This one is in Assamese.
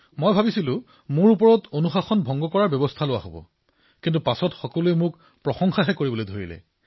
প্ৰথমে ভাবিছিলো যে মই অনুশাসনৰ সন্মুখীন হম কিন্তু পিছত সকলোৱে মোক বাহ বাহ দিলে